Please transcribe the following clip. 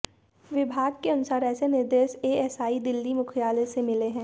विभाग के अनुसार ऐसे निर्देश एएसआई दिल्ली मुख्यालय से मिले हैं